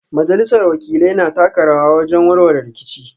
Majalisar Wakilai na taka rawa wajen warware rikici